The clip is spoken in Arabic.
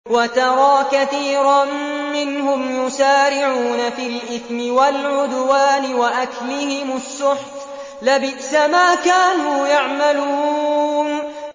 وَتَرَىٰ كَثِيرًا مِّنْهُمْ يُسَارِعُونَ فِي الْإِثْمِ وَالْعُدْوَانِ وَأَكْلِهِمُ السُّحْتَ ۚ لَبِئْسَ مَا كَانُوا يَعْمَلُونَ